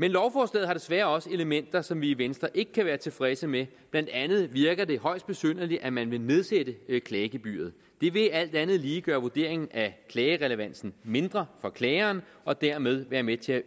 men lovforslaget her desværre også elementer som vi i venstre ikke kan være tilfredse med blandt andet virker det højst besynderligt at man vil nedsætte klagegebyret det vil alt andet lige gøre vurderingen af klagerelevansen mindre for klageren og dermed være med til at